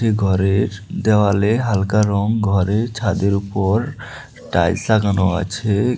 ঘরের দেওয়ালে হালকা রং ঘরের ছাদের উপর টাইলস লাগানো আছে।